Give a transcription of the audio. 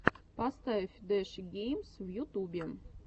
поставь дэши геймс в ютубе